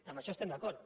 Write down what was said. en això estem d’acord